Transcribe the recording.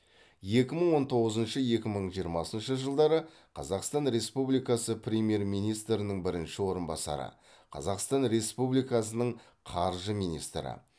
екі мың он тоғызыншы екі мың жиырмасыншы жылдары қазақстан республикасы премьер министрінің бірінші орынбасары қазақстан республикасының қаржы министрі